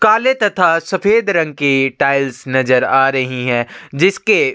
काले तथा सफ़ेद रंग के टाइल्स नज़र आ रही है जिसके--